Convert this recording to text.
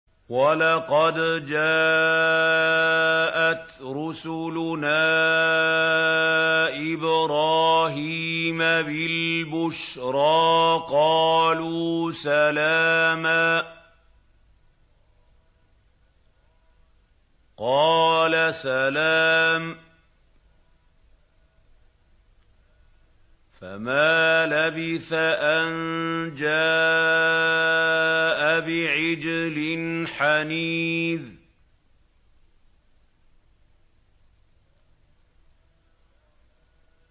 وَلَقَدْ جَاءَتْ رُسُلُنَا إِبْرَاهِيمَ بِالْبُشْرَىٰ قَالُوا سَلَامًا ۖ قَالَ سَلَامٌ ۖ فَمَا لَبِثَ أَن جَاءَ بِعِجْلٍ حَنِيذٍ